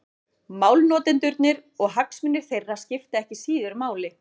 Málnotendurnir og hagsmunir þeirra skipta ekki síður máli.